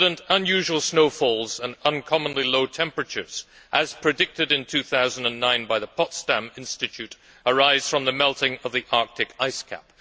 Unusual snowfalls and uncommonly low temperatures, as predicted in 2009 by the Potsdam Institute, arise from the melting of the Arctic ice cap.